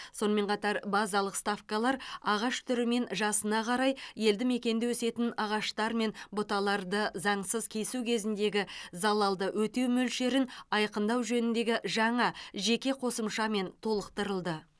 сонымен қатар базалық ставкалар ағаш түрі мен жасына қарай елді мекенде өсетін ағаштар мен бұталарды заңсыз кесу кезіндегі залалды өтеу мөлшерін айқындау жөніндегі жаңа жеке қосымшамен толықтырылды